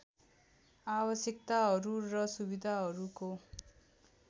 आवश्यकताहरू र सुविधाहरूको